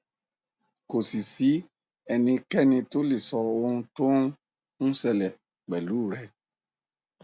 kò sì sí ẹnikẹni tó lè sọ ohun tó ń ń ṣẹlẹ pẹlú u rẹ